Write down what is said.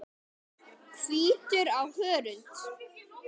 Hvítur á hörund.